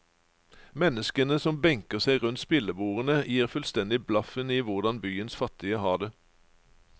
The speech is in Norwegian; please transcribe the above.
Menneskene som benker seg rundt spillebordene, gir fullstendig blaffen i hvordan byens fattige har det.